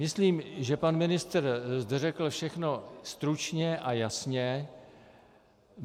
Myslím, že pan ministr zde řekl všechno stručně a jasně.